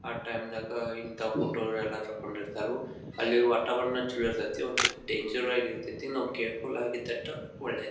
ಆಹ್ಹ್ time ನಾಗ ಇಂತ photo ಎಲ್ಲ ತಕ್ಕೊಂಡ್ ಇರ್ತರು ಅಲ್ಲಿ ವಾತಾವರಣ ಚಲೋ ಇರತೈತಿ ಒಂದ್ ಸ್ವಲ್ಪ ಡೇಂಜರ್ ಇರತೈತಿ ನಾವು ಕೇರ್ಫುಲ್ ಆಗಿ ಇದ್ದಷ್ಟು ಒಳ್ಳೇದು.